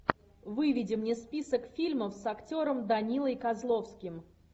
выведи мне список фильмов с актером данилой козловским